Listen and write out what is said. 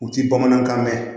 U ti bamanankan mɛn